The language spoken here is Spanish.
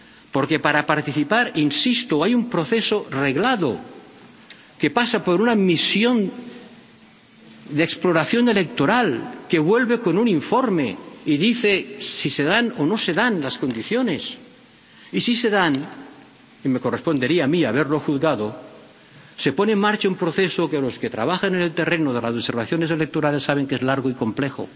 Porque, para participar —insisto—, hay un proceso reglado, que pasa por una misión de exploración electoral, que vuelve con un informe y dice si se dan o no se dan las condiciones, y, si se dan —y me correspondería a mí haberlo juzgado—, se pone en marcha un proceso que los que trabajan en el terreno de las observaciones electorales saben que es largo y complejo,